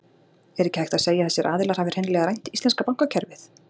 Er ekki hægt að segja að þessir aðilar hafi hreinlega rænt íslenska bankakerfið?